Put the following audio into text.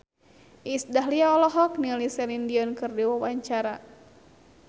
Iis Dahlia olohok ningali Celine Dion keur diwawancara